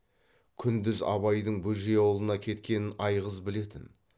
күндіз абайдың бөжей аулына кеткенін айғыз білетін